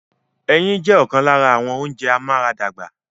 Ẹyin jẹ́ ọ̀kan lára àwọn ounjẹ amúaradàgbà